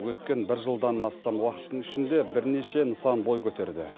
өткен бір жылдан астам уақыттың ішінде бірнеше нысан бой көтерді